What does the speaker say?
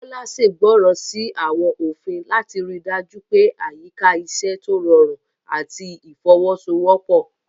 Bola ṣègbọràn sí àwọn òfin láti rí i dájú pé àyíká iṣẹ́ tó rọrùn àti ìfọwọ́sowọ́pọ̀.